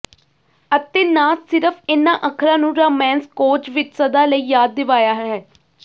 ਅਤੇ ਨਾ ਸਿਰਫ ਇਨ੍ਹਾਂ ਅੱਖਰਾਂ ਨੂੰ ਰਾਮੈਂਸਕੋਯ ਵਿਚ ਸਦਾ ਲਈ ਯਾਦ ਦਿਵਾਇਆ ਹੈ